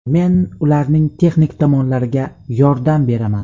Men ularning texnik tomonlariga yordam beraman.